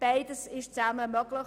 Beides zusammen ist möglich.